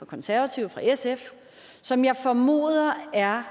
konservative fra sf som jeg formoder er